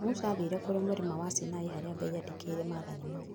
Musa athire kũrĩ mũrĩma wa Sinai harĩa Ngai andĩkire maathani mau